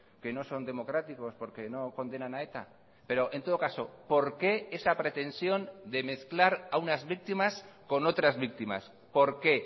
que no son democráticos porque no condenan a eta pero en todo caso por qué esa pretensión de mezclar a unas víctimas con otras víctimas por qué